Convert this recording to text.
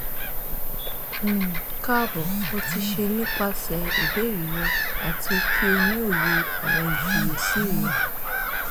um kaabo mo ti ṣe nipasẹ ibeere rẹ ati ki o ni oye awọn ifiyesi rẹ